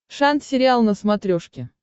шант сериал на смотрешке